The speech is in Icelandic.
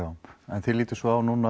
en þið lítið svo á núna